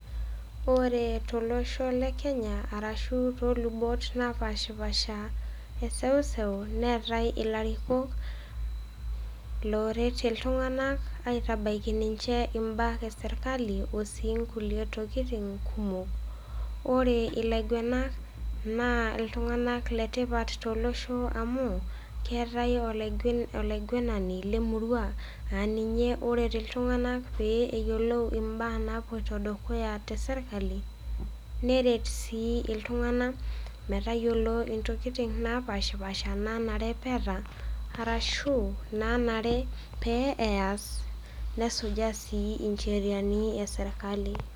Ore tolosho le Kenya arashu toolubot napaashipasha eseuseu neatai ilarikok looret iltung'ana aitabaiki ninche imbaa e sirkali o sii inkuliue tokitin kumok. Ore ilaigwenak naa iltung'ana le tipat tolosho amu, keatai olaigwenani le emurua aa ninye oret iltung'ana pee eyiolou imbaa naapuoita dukaya te sirkali, neret sii iltung'ana metayiolou intokitin napaashpaasha naa nare pee eata ashu, naanare pe eas, nesujaa sii incheriani e sirkali.